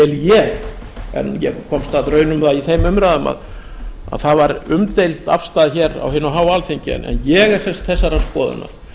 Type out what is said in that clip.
ég en ég komst að raun um það í þeim umræðum að það var umdeild afstaða á hinu háa alþingi en ég er þessarar skoðunar